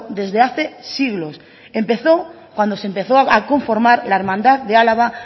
desde hace siglos empezó cuando se empezó a conformar la hermandad de álava